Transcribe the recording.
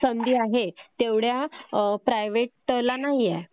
संधी आहे तेवढ्या प्रायव्हेटला नाहीए